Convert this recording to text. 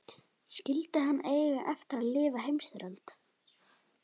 Skyldi hann eiga eftir að lifa heimsstyrjöld?